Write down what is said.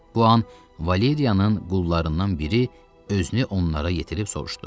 Bu an Valeriyanın qullarından biri özünü onlara yetirib soruşdu.